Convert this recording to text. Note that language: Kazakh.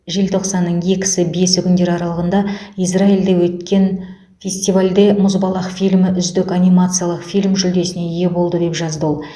желтоқсанның екі бесі күндері аралығында израильде өткен фестивалінде мұзбалақ фильмі үздік анимациялық фильм жүлдесіне ие болды деп жазды ол